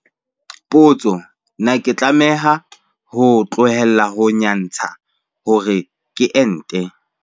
Potso- Na ke tlameha ho tlohela ho nyantsha hore ke ente?